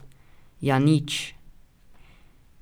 Ja nič ...